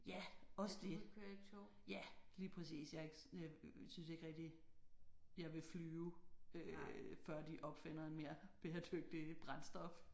Ja også det. Ja lige præcis jeg er ikke øh synes ikke rigtig jeg vil flyve øh før de opfinder en mere bæredygtigt brændstof